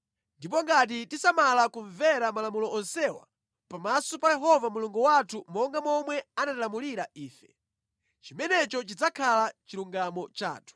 Ndipo ngati tisamala kumvera malamulo onsewa pamaso pa Yehova Mulungu wathu monga momwe anatilamulira ife, chimenecho chidzakhala chilungamo chathu.”